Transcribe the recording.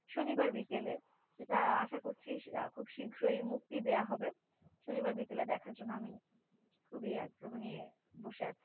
শনিবার বিকেলে যেটা আশা করছি খুব শীঘ্রই মুক্তি দেওয়া হবে শনিবার বিকেলে দেখার জন্যে আমি খুবই আগ্রহ নিয়ে বসে আছি দেখা হয়নি।